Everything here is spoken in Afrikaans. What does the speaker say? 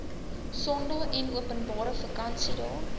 sondae enopenbare vakansiedae